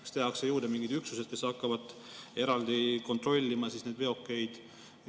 Kas tehakse juurde mingid üksused, kes hakkavad eraldi kontrollima neid veokeid?